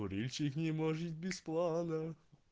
курильщик не может без плана